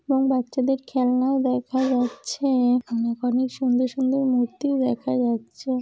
এবং বাচ্চাদের খেলনা-ও দেখা যাচ্ছে-এ । অনেক অনেক সুন্দর সুন্দর মূর্তি-ও দেখা যাচ্ছে।